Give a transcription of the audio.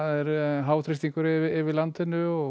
háþrýstingur yfir landinu og